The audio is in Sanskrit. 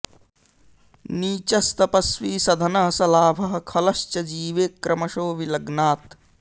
नीचस्तपस्वी सधनः स लाभः खलश्च जीवे क्रमशो विलग्नात्